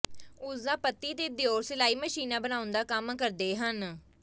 ਉਸ ਦਾ ਪਤੀ ਤੇ ਦਿਓਰ ਸਿਲਾਈ ਮਸ਼ੀਨਾਂ ਬਣਾਉਣ ਦਾ ਕੰਮ ਕਰਦੇ ਹਨ